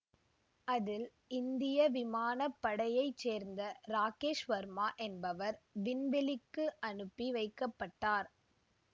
அதில் இந்திய விமான படையைச் சேர்ந்த ராகேஷ் ஷர்மா என்பவர் விண்வெளிக்கு அனுப்பி வைக்க பட்டார்